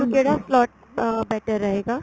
ਕਿਹੜਾ slot ਅਹ better ਰਹੇਗਾ